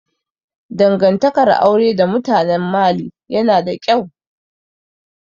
Dangantakar aure da mutanen Mali yana da ƙyau